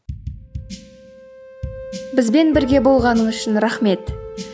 бізбен бірге болғаның үшін рахмет